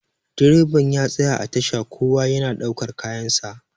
direban ya tsaya a tasha kowa yana daukar kayansa